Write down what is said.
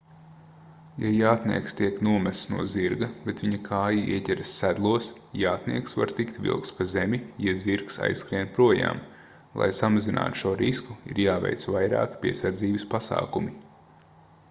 ja jātnieks tiek nomests no zirga bet viņa kāja ieķeras sedlos jātnieks var tikt vilkts pa zemi ja zirgs aizskrien projām lai samazinātu šo risku ir jāveic vairāki piesardzības pasākumi